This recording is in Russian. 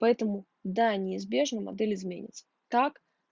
поэтому да неизбежно модель изменится так